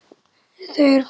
Þau eru fá.